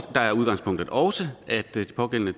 er udgangspunktet også at de pågældende